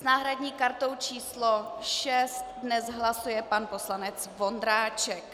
S náhradní kartou číslo 6 dnes hlasuje pan poslanec Vondráček.